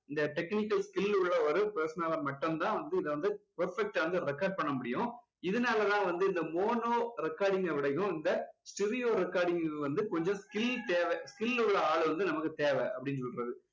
இந்த technical skill உள்ள ஒரு person னால மட்டும் தான் வந்து இதை வந்து perfect டா வந்து record பண்ண முடியும் இதனால தான் வந்து இந்த mono recording அ விடயும் இந்த stereo recording வந்து கொஞ்சம் skill தேவை skill உள்ள ஆளு வந்து நமக்கு தேவை அப்படின்னு சொல்றது